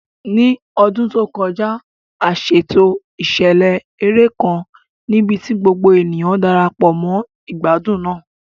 Ní ọdún tó kọjá, a ṣètò ìṣẹ̀lẹ̀ eré kan níbi tí gbogbo ènìyàn Darapọ̀ mọ́ ìgbádùn náà.